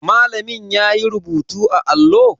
Malamin yayi rubutu a allo?